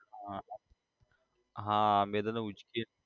હા હા